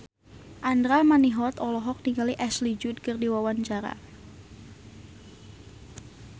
Andra Manihot olohok ningali Ashley Judd keur diwawancara